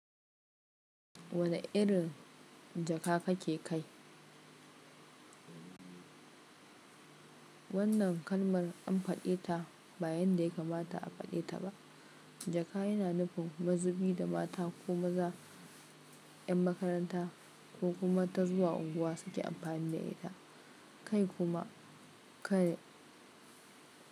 Wane irin jaka kake kai? Wannan kalmar an faɗe ta ba yan da ya kamata a faɗe ta ba. Jaka yana nufin mazubi da mata ko maza, ‘yan makaranta ko kuma ta zuwa unguwa suke amfani da ita kai kuma kai.